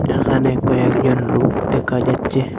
এখানে কয়েকজন লুক দেখা যাচ্ছে।